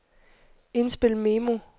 indspil memo